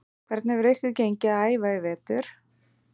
Hvernig hefur ykkur gengið að æfa í vetur?